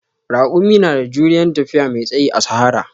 Raƙumi na da juriyan tafiya mai tsayi a sahara